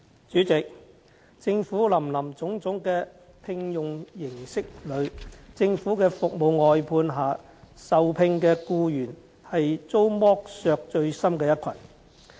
主席，在政府林林總總的聘用形式中，政府服務外判下受聘的僱員是遭剝削最深的一群。